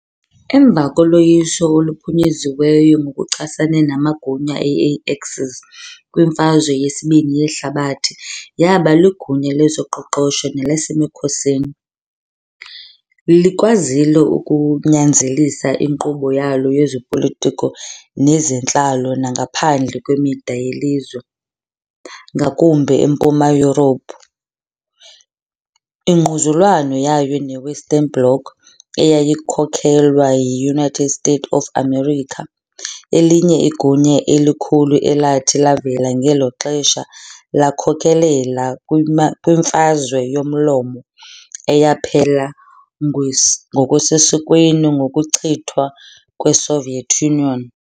Emva koloyiso oluphunyeziweyo ngokuchasene namagunya e-Axis kwiMfazwe yeSibini yeHlabathi yaba ligunya lezoqoqosho nelasemkhosini, likwazile ukunyanzelisa inkqubo yalo yezopolitiko nezentlalo nangaphandle kwemida yelizwe, ngakumbi eMpuma Yurophu. Ingquzulwano yayo neWestern Bloc eyayikhokelwa yi-United States of America, elinye igunya elikhulu elathi lavela ngelo xesha, lakhokelela kwiMfazwe Yomlomo, eyaphela ngokusesikweni ngokuchithwa kweSoviet Union.